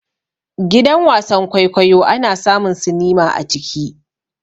Gidan wasan-kwaikwayo ana samun sinima a ciki.